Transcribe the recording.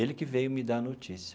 Ele que veio me dar a notícia.